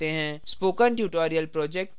spoken tutorial project team